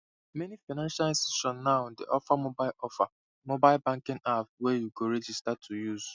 meni financial institutions now dey offer mobile offer mobile banking apps wey you go register to use